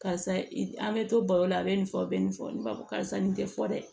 Karisa i an bɛ to baro la a bɛ nin fɔ a bɛ nin fɔ nin b'a fɔ karisa nin tɛ fɔ dɛ